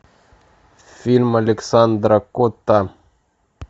фильм александра котта